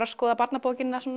að skoða barnabókina